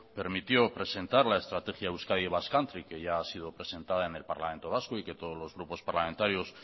permitió presentar la estrategia euskadi basque country que ya ha sido presentada en el parlamento vasco y que todos los grupos parlamentarios